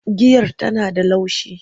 Giyar Tana da laushi.